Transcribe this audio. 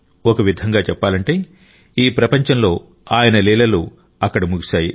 ఒక విధంగా చెప్పాలంటే ఈ ప్రపంచంలో ఆయన లీలలు అక్కడ ముగిశాయి